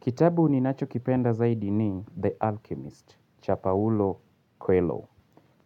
Kitabu ninacho kipenda zaidi ni The Alchemist, cha Paulo Coelho.